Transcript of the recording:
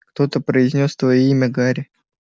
кто-то произнёс твоё имя гарри